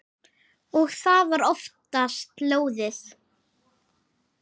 Og það var oftast lóðið.